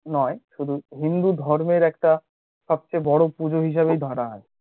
নয় শুধু হিন্দু ধর্মের একটা সবচেয়ে বড় পুজো হিসেবে ধরা হয়।